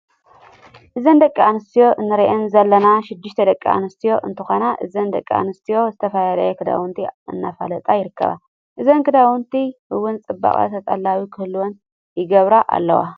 እዘን ደቂ ኣነስትዮ እንሪአን ዘለና 6ተ ደቂ ኣነስትዮ እንትኳና እዘን ደቂ ኣነስትዮ ዝተፈላለዩ ክዳውንቲ ኣነፋለጣ ይርከባ። እዞም ክዳውንቲ እውን ፅቡቅ ተጠላቢ ክህልዎም ይገብራ ኣለዋ።